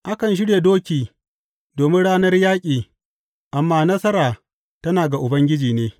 Akan shirya doki domin ranar yaƙi, amma nasara tana ga Ubangiji ne.